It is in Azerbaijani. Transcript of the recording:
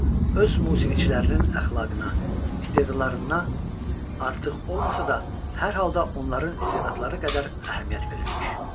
öz musiqiçilərinin əxlaqına, istedadlarına artıq olmasa da, hər halda onların istedadları qədər əhəmiyyət verirmiş.